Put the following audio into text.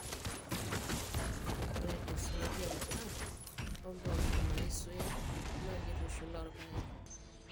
ore desmodium app. o mpoosho naaisuya naa keitushula orpaek